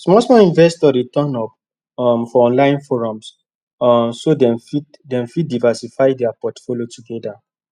small small investors dey turn up um for online forums um so dem fit dem fit diversify their portfolio together